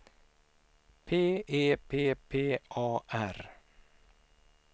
P E P P A R